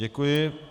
Děkuji.